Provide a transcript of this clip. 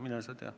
Mine sa tea.